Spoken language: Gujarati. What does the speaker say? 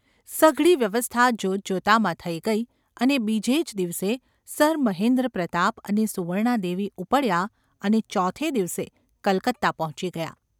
સઘળી વ્યવસ્થા જોતજોતામાં થઈ ગઈ અને બીજે જ દિવસે સર મહેન્દ્રપ્રતાપ અને સુવર્ણાદેવી ઊપડ્યાં અને ચોથે દિવસે કલકત્તા પહોંચી ગયાં.